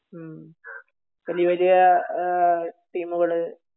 മ്മ്ഹ്. വലിയ വലിയ ഇഹ് ടീമുകള്